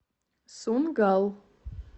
сунггал